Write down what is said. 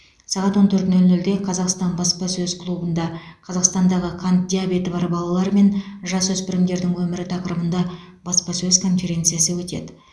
сағат он төрт нөл нөлде қазақстан баспасөз клубында қазақстандағы қант диабеті бар балалар мен жасөспірімдердің өмірі тақырыбында баспасөз конференциясы өтеді